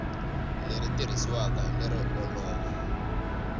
leri tirhisiwaka hi lero olova